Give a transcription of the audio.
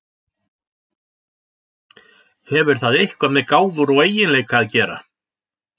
Hefur það eitthvað með gáfur og eiginleika að gera?